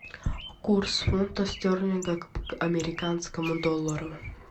курс фунта стерлинга к американскому доллару